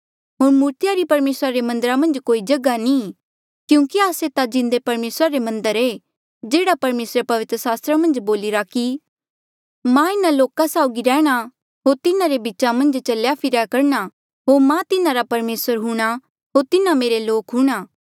होर मूर्तिया री परमेसरा रे मन्दरा मन्झ कोई जगहा नी क्यूंकि आस्से ता जिन्दे परमेसरा रे मन्दर ऐें जेह्ड़ा परमेसरे पवित्र सास्त्रा मन्झ बोलिरा कि मां इन्हा लोका साउगी रैहणां होर तिन्हारे बीचा मन्झ चल्या फिरया करणा होर मां तिन्हारा परमेसर हूंणां होर तिन्हा मेरे लोक हूंणां